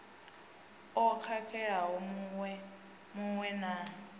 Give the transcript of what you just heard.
o khakhelaho mu we na